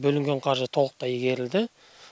бөлінген қаржы толықтай игерілді